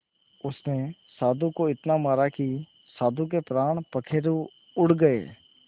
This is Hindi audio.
उसने साधु को इतना मारा कि साधु के प्राण पखेरु उड़ गए